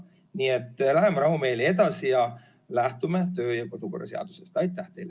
Nii et läheme rahumeeli edasi ja lähtume kodu- ja töökorra seadusest!